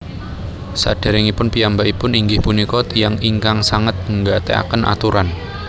Saderengipun piyambakipun inggih punika tiyang ingkangsanget nggatekaken aturan